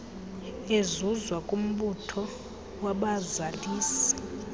ezuzwa kumbutho wabazalisi